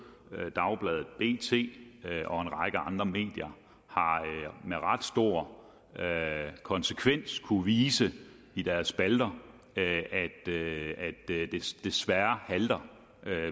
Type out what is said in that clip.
dagbladet bt og en række andre medier har med ret stor konsekvens kunnet vise i deres spalter at det desværre halter